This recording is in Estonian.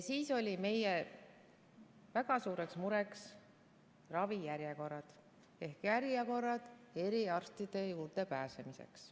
Siis olid meie väga suureks mureks ravijärjekorrad ehk järjekorrad eriarsti juurde pääsemiseks.